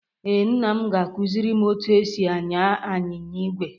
Ee, nna m ga-akụziri m otú e si anya anyịnya ígwè